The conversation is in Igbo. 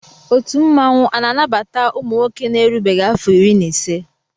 Ọtu mmanwụ ana anabata ụmụnwoke na erubeghi afo iri na ise.